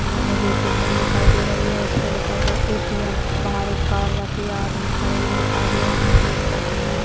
मे मुझे एक बिल्डिंग दिखाई दे रही है उसपे लिखा हुआ है ए.टी.एम. बाहर एक कार रखी है आदमी खड़े हुए दिखाई दे रहे है टिने रखी है।